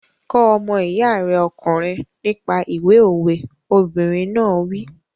Kọ́ ọmọ iya rẹ ọkùnrin nípa ìwé òwe! Obìnrin náà wí.